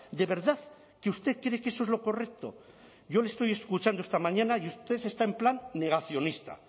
de verdad que usted cree que eso es lo correcto yo le estoy escuchando esta mañana y usted está en plan negacionista